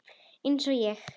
Eins og ég?